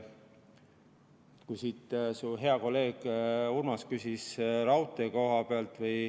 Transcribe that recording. Su hea kolleeg Urmas küsis raudtee kohta.